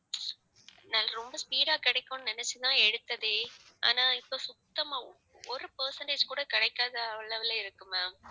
நல்ல ரொம்ப speed ஆ கிடைக்கும்னு நினைச்சுதான் எடுத்ததே. ஆனா இப்ப சுத்தமா ஒரு percentage கூட கிடைக்காத அளவுல இருக்கு ma'am